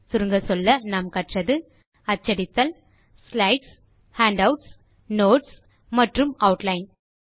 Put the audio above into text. சுருங்கச்சொல்ல நாம் கற்றது அச்சடித்தல் ஸ்லைட்ஸ் ஹேண்டவுட்ஸ் நோட்ஸ் மற்றும் ஆட்லைன்